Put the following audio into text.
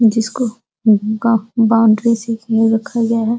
जिसको बॉउंड्री से घे रखा गया है।